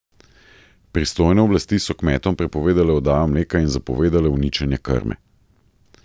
Pristojne oblasti so kmetom prepovedale oddajo mleka in zapovedale uničenje krme.